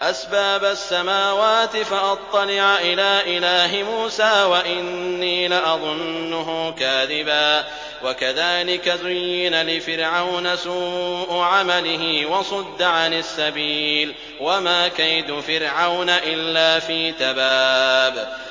أَسْبَابَ السَّمَاوَاتِ فَأَطَّلِعَ إِلَىٰ إِلَٰهِ مُوسَىٰ وَإِنِّي لَأَظُنُّهُ كَاذِبًا ۚ وَكَذَٰلِكَ زُيِّنَ لِفِرْعَوْنَ سُوءُ عَمَلِهِ وَصُدَّ عَنِ السَّبِيلِ ۚ وَمَا كَيْدُ فِرْعَوْنَ إِلَّا فِي تَبَابٍ